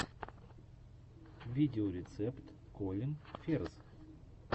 видеорецепт колин ферз